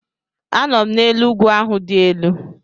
Anọ m n'elu ugwu ahụ dị elu